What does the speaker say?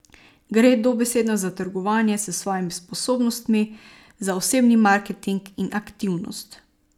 Gre dobesedno za trgovanje s svojimi sposobnostmi, za osebni marketing in aktivnost.